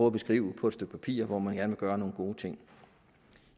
at beskrive på et stykke papir hvor man gerne vil gøre nogle gode ting